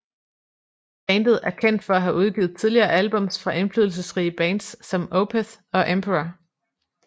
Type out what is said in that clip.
Bandet er kendt for at have udgivet tidlige albums fra indflydelsesrige bands som Opeth og Emperor